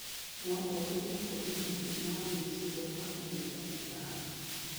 no itũme kũgĩe na mathĩna ma ũgima wa meciria kwa ihinda iraya.